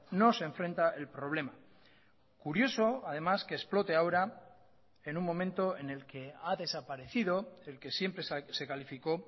no se enfrenta el problema curioso además que explote ahora en un momento en el que ha desaparecido el que siempre se calificó